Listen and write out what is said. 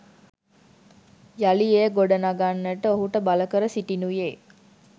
යළි එය ගොඩගන්නට ඔහුට බලකර සිටිනුයේ